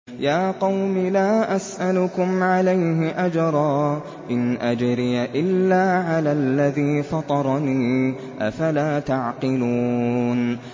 يَا قَوْمِ لَا أَسْأَلُكُمْ عَلَيْهِ أَجْرًا ۖ إِنْ أَجْرِيَ إِلَّا عَلَى الَّذِي فَطَرَنِي ۚ أَفَلَا تَعْقِلُونَ